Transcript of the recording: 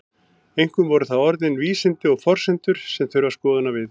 Einkum eru það orðin vísindi og forsendur sem þurfa skoðunar við.